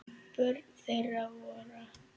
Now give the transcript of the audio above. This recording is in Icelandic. Börn þeirra voru